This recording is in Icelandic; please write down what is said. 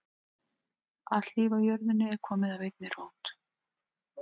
Allt líf á jörðinni er komið af einni rót.